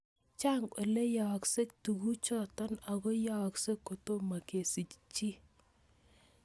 Chang' ole yaakse tuguchutok ako yaakse kotomo kesich chii